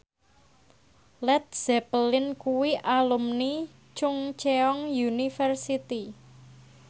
Led Zeppelin kuwi alumni Chungceong University